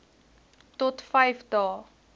tot vyf dae